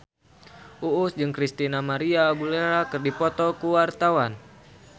Uus jeung Christina María Aguilera keur dipoto ku wartawan